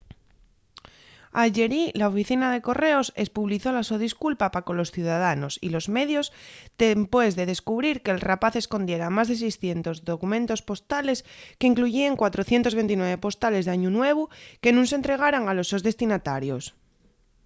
ayerí la oficina de correos espublizó la so disculpa pa colos ciudadanos y los medios dempués de descubrir que’l rapaz escondiera más de 600 documentos postales qu’incluyíen 429 postales d’añu nuevu que nun s’entregaran a los sos destinatarios